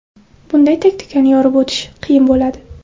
Bunday taktikani yorib o‘tish qiyin bo‘ladi.